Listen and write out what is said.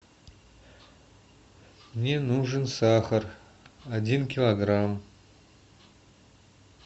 мне нужен сахар один килограмм